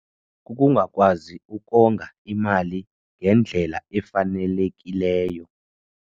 Kukungakwazi ukonga imali ngendlela efanelekileyo.